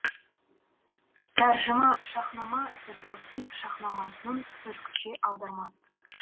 тәржіма шаһнама фердоуси шаһнамасының түркіше аудармасы